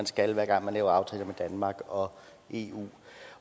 skal hver gang man laver aftaler med danmark og eu